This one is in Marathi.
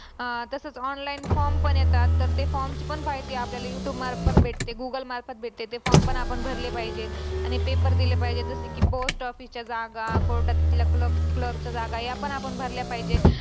अह तसच online forms पण येतात त ते forms पण माहिती आपल्याला youtube मार्फत भेटते google मार्फत भेटते ते form पण आपण भरले पाहिजेत आणि paper दिले पाहिजेत जस कि post office च्या जग court आत cler clerk च्या जागा या पण आपण भरल्या पाहिजे